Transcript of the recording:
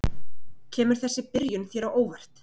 Kemur þessi byrjun þér á óvart?